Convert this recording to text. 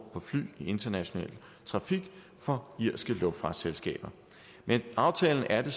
på fly i international trafik for irske luftfartsselskaber med aftalen er